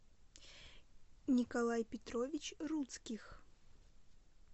николай петрович руцких